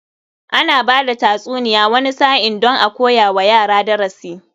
Ana bada tatsuniya wani sa'in don a koya wa yara darasi.